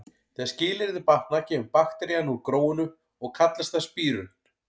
Þegar skilyrðin batna kemur bakterían úr gróinu og kallast það spírun.